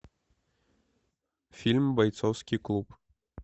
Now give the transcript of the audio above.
фильм бойцовский клуб